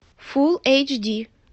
фулл эйч ди